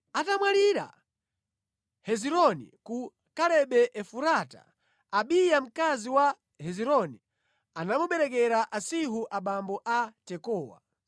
Atamwalira Hezironi ku Kalebe Efurata, Abiya mkazi wa Hezironi anamuberekera Asihuri abambo a Tekowa.